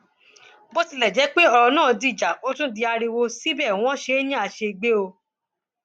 bó tilẹ jẹ pé ọrọ náà dìjà ó tún di ariwo síbẹ wọn ṣe é ní àṣegbè o